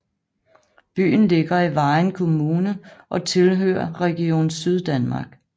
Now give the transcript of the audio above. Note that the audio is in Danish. Byen ligger i Vejen Kommune og tilhører Region Syddanmark